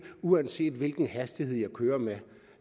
uanset hvilken hastighed de kører med